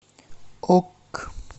ок